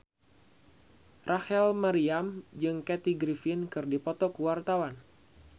Rachel Maryam jeung Kathy Griffin keur dipoto ku wartawan